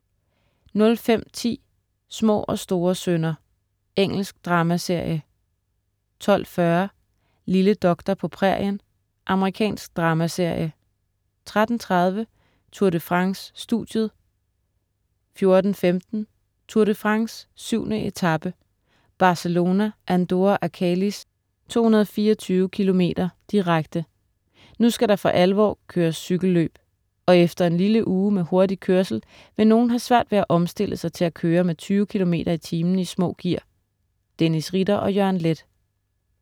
05.10 Små og store synder. Engelsk dramaserie 12.40 Lille doktor på prærien. Amerikansk dramaserie 13.30 Tour de France: Studiet 14.15 Tour de France: 7. etape, Barcelona-Andorre Arcalis, 224 km., direkte, Nu skal der for alvor køres cykelløb. Og efter en lille uge med hurtig kørsel vil nogle have svært ved at omstille sig til at køre med 20 km/t i små gear. Dennis Ritter og Jørgen Leth